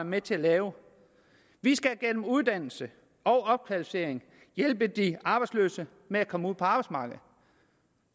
med til at lave vi skal gennem uddannelse og opkvalificering hjælpe de arbejdsløse med at komme ud på arbejdsmarkedet